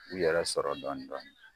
U yɛrɛ sɔrɔ dɔɔnin dɔɔnin